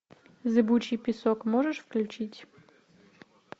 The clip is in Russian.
зыбучий песок можешь включить